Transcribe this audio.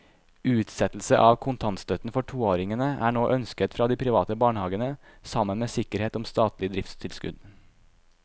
Utsettelse av kontantstøtten for toåringene er nå ønsket fra de private barnehavene sammen med sikkerhet om statlig driftstilskudd.